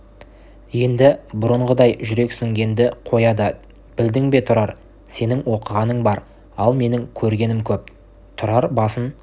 енді бұрынғыдай жүрексінгенді қояды білдің бе тұрар сенің оқығаның бар ал менің көргенім көп тұрар басын